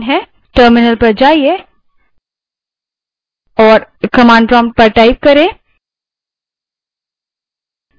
terminal पर जाएँ और command type करें